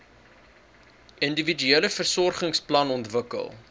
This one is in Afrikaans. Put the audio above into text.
individuele versorgingsplan ontwikkel